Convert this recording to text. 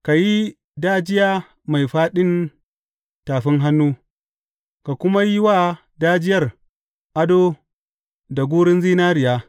Ka yi dajiya mai fāɗin tafin hannu, ka kuma yi wa dajiyar ado da gurun zinariya.